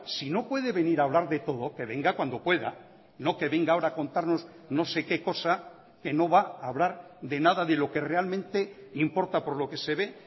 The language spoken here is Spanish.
si no puede venir a hablar de todo que venga cuando pueda no que venga ahora a contarnos no sé qué cosa que no va a hablar de nada de lo que realmente importa por lo que se ve